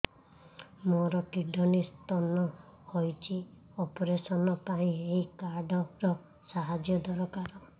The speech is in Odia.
ମୋର କିଡ଼ନୀ ସ୍ତୋନ ହଇଛି ଅପେରସନ ପାଇଁ ଏହି କାର୍ଡ ର ସାହାଯ୍ୟ ଦରକାର